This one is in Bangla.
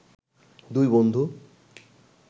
দুই বন্ধু